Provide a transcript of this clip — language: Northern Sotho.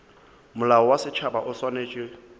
molao wa setšhaba o swanetše